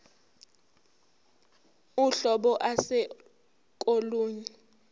uhlobo ase kolunye